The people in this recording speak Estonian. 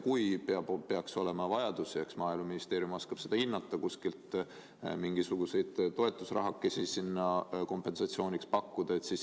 Kui peaks olema vajadus, eks Maaeluministeerium oskab seda hinnata, saaks kuskilt mingisuguseid toetusrahakesi sinna kompensatsiooniks pakkuda.